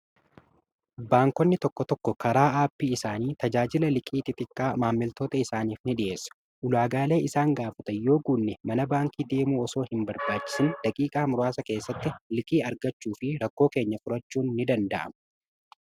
Baankonni tokko tokko karaa aappii isaanii tajaajila liqii xixiqqaa maammiltoota isaaniif ni dhi'eessuu. Ulaagaalee isaan gaafatan yoo guunne mana baankii deemuu osoo hin barbaachisin daqiiqaa muraasa keessatti liqii argachuu fi rakkoo keenya furachuu ni danda'ama.